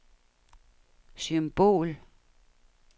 symbol